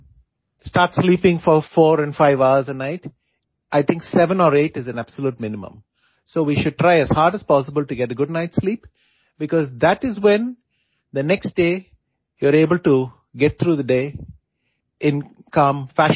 do not start sleeping four four and five hours a night I think seven or eight is a absolute minimum so we should try as hard as possible to get good night sleep because that is when the next day you are able to get through the day in calm fashion